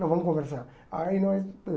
Não, vamos conversar. Aí nós